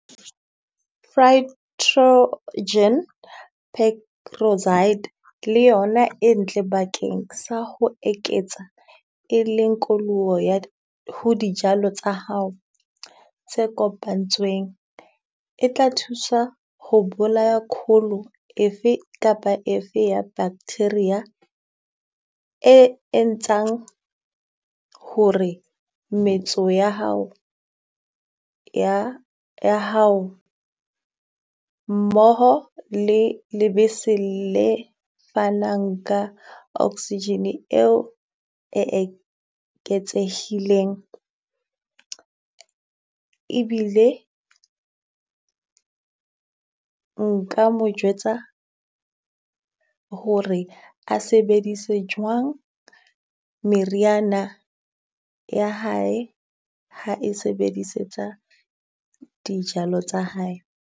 le yona e ntle bakeng sa ho eketsa, e leng koloho ya ho dijalo tsa hao tse kopanetsweng. E tla thusa ho bolaya efe kapa efe ya bacteria e entsang ho re metso ya hao, ya hao mmoho le lebese le fanang ka oxygen eo e eketsehileng. Ebile nka mo jwetsa hore a sebedise jwang meriana ya hae ha e sebedisetsa dijalo tsa hae.